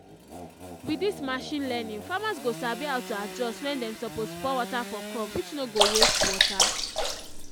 with this machine learningfarmers go sabi how to adjust when dem suppose pour water for crop which no go waste water